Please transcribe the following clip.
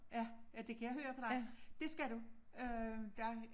Ja ja det kan jeg høre på dig det skal du øh der